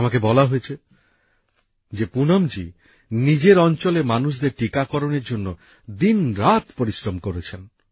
আমাকে বলা হয়েছে যে পুনমজী নিজের অঞ্চলের মানুষদের টিকাকরণের জন্য দিনরাত পরিশ্রম করেছেন